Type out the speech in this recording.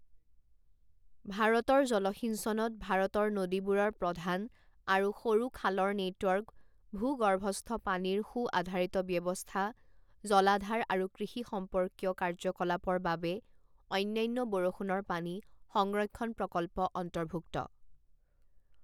ভাৰতৰ জলসিঞ্চনত ভাৰতৰ নদীবোৰৰ প্ৰধান আৰু সৰু খালৰ নেটৱৰ্ক ভূগৰ্ভস্থ পানীৰ সু আধাৰিত ব্যৱস্থা জলাধাৰ আৰু কৃষি সম্পৰ্কীয় কাৰ্যকলাপৰ বাবে অন্যান্য বৰষুণৰ পানী সংৰক্ষণ প্ৰকল্প অন্তৰ্ভুক্ত।